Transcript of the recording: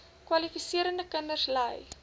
kwalifiserende kinders ly